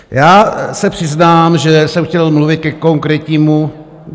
Já se přiznám, že jsem chtěl mluvit ke konkrétnímu...